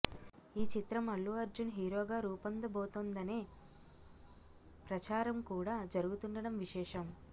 ఈ చిత్రం అల్లు అర్జున్ హీరోగా రూపొందబోతోందనే ప్రచారం కూడా జరుగుతుండడం విశేషం